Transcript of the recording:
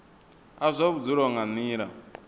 a zwa vhudzulo nga nila